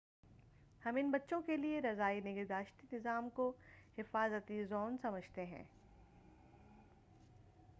ہم ان بچوں کے لیے رضاعی نگہداشتی نظام کو حفاظتی زون سمجھتے ہیں